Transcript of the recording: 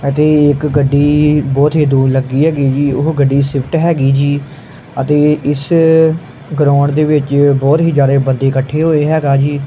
ਅਤੇ ਇੱਕ ਗੱਡੀ ਬਹੁਤ ਹੀ ਧੂਲ ਲੱਗੀ ਹੈਗੀ ਜੀ ਓਹ ਗੱਡੀ ਸਵਿਫਟ ਹੈਗੀ ਜੀ ਅਤੇ ਇਸ ਗਰਾਉਂਡ ਦੇ ਵਿੱਚ ਬਹੁਤ ਹੀ ਜਿਆਦਾ ਬੰਦੇ ਇਕੱਠੇ ਹੋਏ ਹੈਗਾ ਜੀ।